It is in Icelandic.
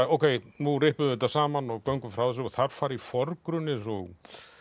ókei nú rippum við þetta saman og göngum frá þessu og þar fara í forgrunn eins og